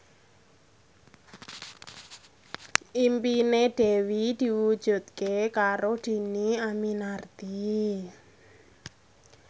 impine Dewi diwujudke karo Dhini Aminarti